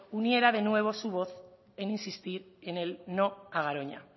uniera de nuevo su voz en insistir en el no a garoña